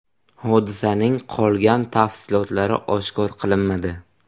Hodisaning qolgan tafsilotlari oshkor qilinmadi.